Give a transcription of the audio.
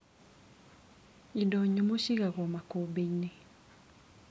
Indo nyũmũ ciigagwo makũmbĩinĩ.